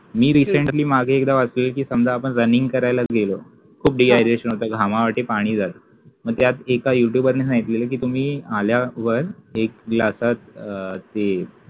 मी recently मागे एकदा वाचलेलं कि समजा आपण running करायला गेलो, खूप dehydration होतं, घामावाटे पाणी जातं मी त्यात एका youtuber नी सांगितलेलं कि तुम्ही आल्यावर एक glass आत अं ते